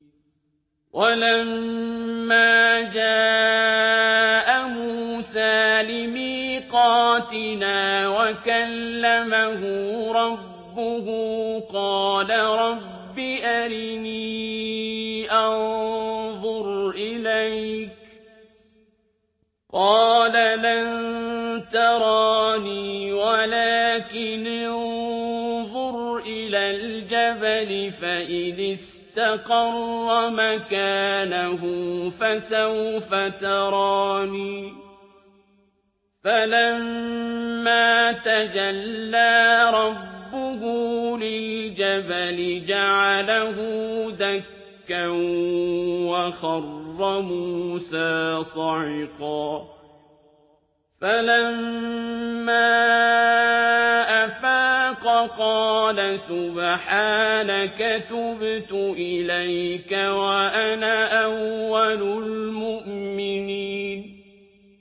وَلَمَّا جَاءَ مُوسَىٰ لِمِيقَاتِنَا وَكَلَّمَهُ رَبُّهُ قَالَ رَبِّ أَرِنِي أَنظُرْ إِلَيْكَ ۚ قَالَ لَن تَرَانِي وَلَٰكِنِ انظُرْ إِلَى الْجَبَلِ فَإِنِ اسْتَقَرَّ مَكَانَهُ فَسَوْفَ تَرَانِي ۚ فَلَمَّا تَجَلَّىٰ رَبُّهُ لِلْجَبَلِ جَعَلَهُ دَكًّا وَخَرَّ مُوسَىٰ صَعِقًا ۚ فَلَمَّا أَفَاقَ قَالَ سُبْحَانَكَ تُبْتُ إِلَيْكَ وَأَنَا أَوَّلُ الْمُؤْمِنِينَ